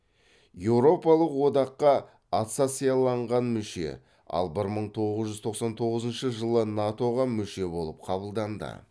еуропалық одаққа ассоциацияланған мүше ал бір мың тоғыз жүз тоқсан тоғызыншы жылы нато ға мүше болып қабылданды